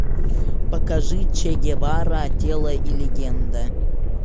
покажи че гевара тело и легенда